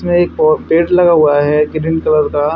इसमें एक प पेड़ लगा हुआ है ग्रीन कलर का--